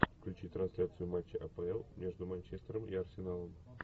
включи трансляцию матча апл между манчестером и арсеналом